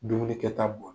Dumuni kɛta bo